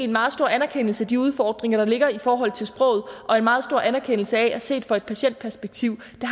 meget stor anerkendelse af de udfordringer der ligger i forhold til sproget og en meget stor anerkendelse af at det set fra et patientperspektiv